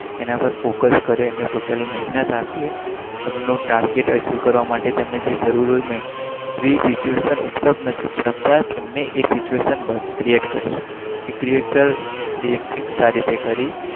એના પર ફોકસ કરે